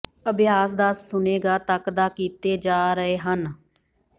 ਅਭਿਆਸ ਦਸ ਸੁਣੇਗਾ ਤੱਕ ਦਾ ਕੀਤੇ ਜਾ ਰਹੇ ਹਨ